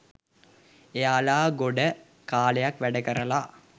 එයාලා ගොඩ කාලයක් වැඩ කරලා